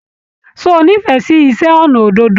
Ṣé o n'ifẹ sí iṣẹ ọnà òdòdó?